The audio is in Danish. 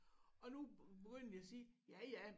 Og nu begynder vi at sige ja ja